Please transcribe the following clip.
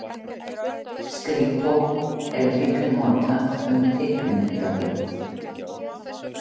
Skrípó er líka notað um teiknimyndablöð.